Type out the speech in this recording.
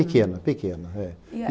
Pequena, pequena é. E a